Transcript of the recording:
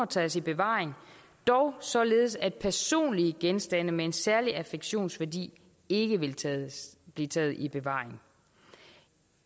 tages i bevaring dog således at personlige genstande med en særlig affektionsværdi ikke vil blive taget i bevaring